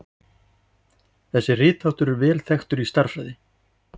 Þessi ritháttur er vel þekktur í stærðfræði.